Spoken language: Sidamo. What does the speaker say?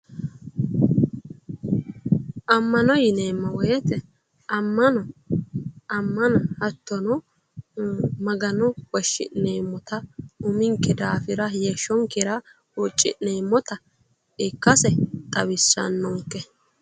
Ammano yineemmo woyte ammano hattono magano woshshi'neemmota uminke daafira heeshshonkera huucci'neemmota ikkase xawissannonke